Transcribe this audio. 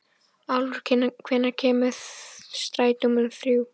Álfur, hvenær kemur strætó númer þrjú?